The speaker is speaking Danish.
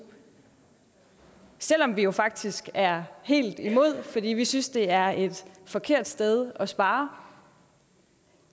selv om vi jo faktisk er helt imod fordi vi synes det er et forkert sted at spare